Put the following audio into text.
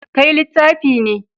Kai littafi ne.